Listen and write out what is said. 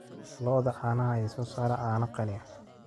Lo'da caanaha ayaa soo saara caano qani ah